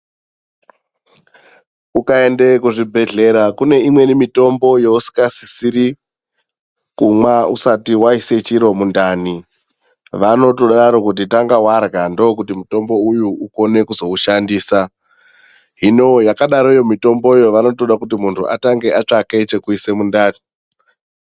Ukaende kuzvibhedhlera kune imweni mitombo yousingasisiri kumwa usati waise chiro mundani. Vanotodaro kuti tanga warya ndokuti mutombo uyu ukone kuzoushandisa. Hino yakadaroyo mitomboyo vanotoda kuti muntu atange atsvaka chekuise mundani.